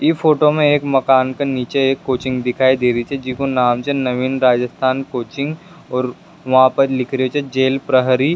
ये फोटो मा एक मकान के निचे एक कोचिंग दिखाई दे री छे जिको नाम छे नविन राजिस्थान कोचिंग और वहाँ पर लिख रेहो छे जेल प्रहरी।